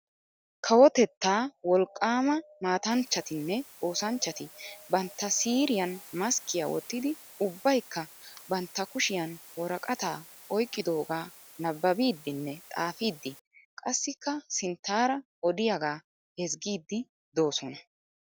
Kawotettaa wolqqaama matanchattinne oosanchati bantta siiriyaan maskkiyaa wottidi ubbaykka bantta kushiyan woraqataa oyqqidogaa nababbidinne xaafiidi qassikka sinttara odiyaagaa ezggiidi doosonna.